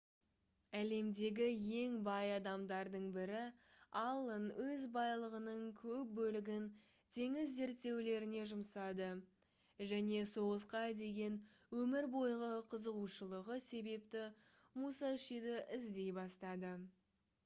әлемдегі ең бай адамдардың бірі аллен өз байлығының көп бөлігін теңіз зерттеулеріне жұмсады және соғысқа деген өмір бойғы қызығушылығы себепті мусашиді іздей бастады